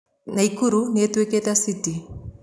Naikuru nĩĩtuĩkĩkite cĩtĩ